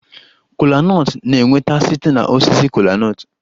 Kola nut na-enweta site na osisi kola nut